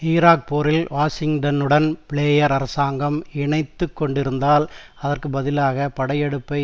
Iraq போரில் வாஷிங்டனுடன் Blair அரசாங்கம் இணைத்து கொண்டிருந்தாள் அதற்கு பதிலாக படையெடுப்பை